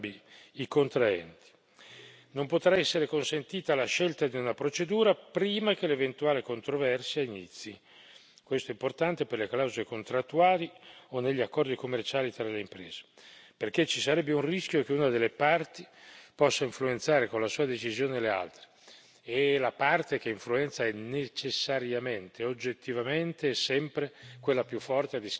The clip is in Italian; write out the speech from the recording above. Non potrà essere consentita la scelta di una procedura prima che l'eventuale controversia inizi questo è importante per le clausole contrattuali o negli accordi commerciali tra le imprese, perché ci sarebbe un rischio che una delle parti possa influenzare con la sua decisione le altre, e la parte che influenza è necessariamente e oggettivamente sempre quella più forte, a discapito delle piccole imprese.